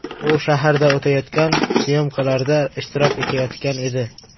U shaharda o‘tayotgan syomkalarda ishtirok etayotgan edi.